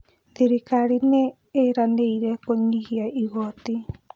Thirikari nĩ ĩranĩire kũnyihia igoti